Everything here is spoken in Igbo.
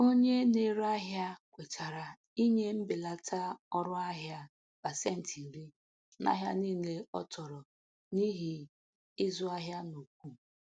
Onye na-ere ahịa kwetara inye mbelata ọrụ ahịa pasentị iri n'ahịa niile ọ tụrụ n'ihi izu ahịa n'ukwu.